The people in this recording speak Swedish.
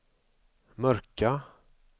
mörka